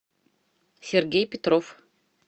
сергей петров